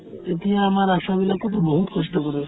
এতিয়া আমাৰ আশাবিলাকেওতো বহুত কষ্ট কৰে